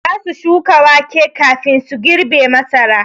Za su shuka wake kafin su girbe masara.